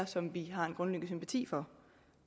som vi har en grundlæggende sympati for